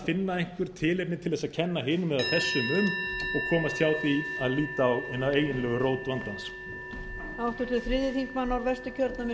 finna einhver tilefni til þess að kenna hinum eða þessum um og komast hjá því að líta á hina eiginlegu rót vandans